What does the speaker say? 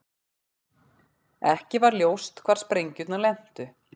Ekki var ljóst hvar sprengjurnar lentu